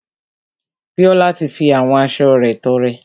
Bíọ́lá ti fi àwọn aṣo rẹ̀ tọrẹ.